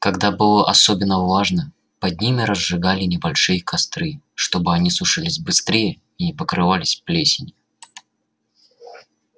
когда было особенно влажно под ними разжигали небольшие костры чтобы они сушились быстрее и не покрывались плесенью